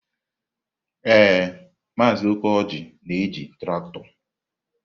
Ee, Maazị Okoji na-eji traktọ.